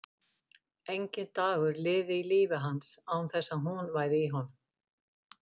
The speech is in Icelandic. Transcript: Enginn dagur liði í lífi hans án þess að hún væri í honum.